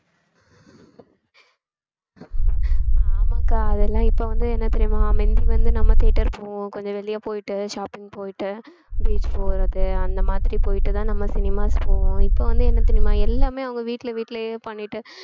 ஆமாக்கா அதெல்லாம் இப்ப வந்து என்ன தெரியுமா மிந்தி வந்து நம்ம theatre போவோம் கொஞ்சம் வெளிய போயிட்டு shopping போயிட்டு beach போறது அந்த மாதிரி போயிட்டுதான் நம்ம cinemas போவோம் இப்ப வந்து என்ன தெரியுமா எல்லாமே அவங்க வீட்ல வீட்லையே பண்ணிட்டு